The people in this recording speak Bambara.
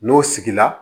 N'o sigila